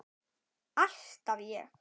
Alltaf ég.